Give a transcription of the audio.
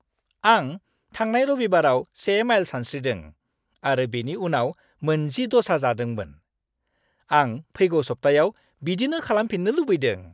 आं थांनाय रबिबाराव 1 माइल सानस्रिदों आरो बेनि उनाव मोन 10 ड'सा जादोंमोन। आं फैगौ सप्तायाव बिदिनो खालामफिन्नो लुबैदों।